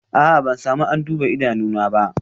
A'a, ban samu an duba idanuna ba